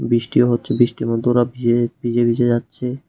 বৃষ্টি হচ্ছে বৃষ্টির মধ্যে ওরা ভিজে ভিজে ভিজে যাচ্ছে।